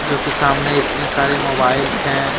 क्योंकि सामने इतने सारे मोबाइल्स हैं।